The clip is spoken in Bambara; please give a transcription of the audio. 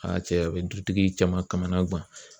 Aa cɛ ! A bɛ dutigi caman kamana gan.